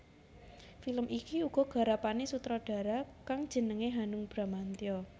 Film iki uga garapané sutradara kang jenengé Hanung Bramantyo